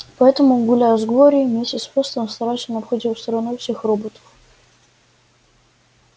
поэтому гуляя с глорией миссис вестон старательно обходила стороной всех роботов